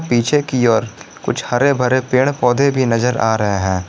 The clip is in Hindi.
पीछे की ओर कुछ हरे भरे पेड़ पौधे भी नजर आ रहे हैं।